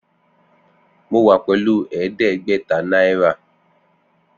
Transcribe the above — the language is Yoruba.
Mo wa pelu ẹdẹgbẹta naira.